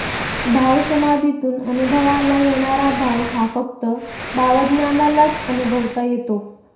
भावसमाधीतून अनुभवाला येणारा भाव हा फक्त भावाज्ञालाच अनुभवता येतो